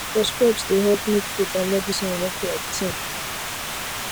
respect dey help make faith and medicine work like team